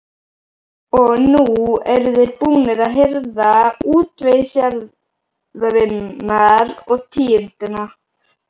Og nú eru þeir búnir að hirða útvegsjarðirnar og tíundina.